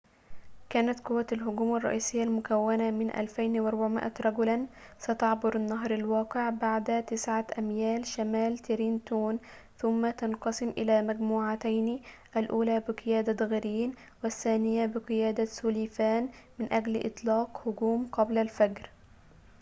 كانت قوّة الهجوم الرئيسيّة المكوّنة من 2,400 رجلاً ستعبر النهر الواقع على بعد تسعة أميال شمال ترينتون ثم تنقسم إلى مجموعتين الأولى بقيادة غرين والثانية بقيادة سوليفان من أجل إطلاق هجوم قبل الفجر